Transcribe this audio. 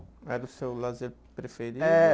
Era o seu lazer preferido?